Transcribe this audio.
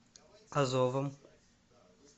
азовом